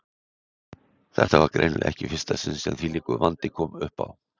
Þetta var greinilega ekki í fyrsta sinn sem þvílíkur vandi kom uppá.